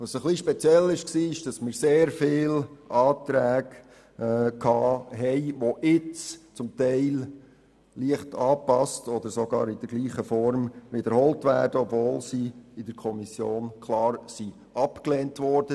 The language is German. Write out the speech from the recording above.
Ein bisschen speziell war, dass wir sehr viele Anträge hatten, die jetzt, zum Teil leicht angepasst oder sogar in der gleichen Form, wiederholt werden, obwohl sie in der Kommission klar abgelehnt wurden.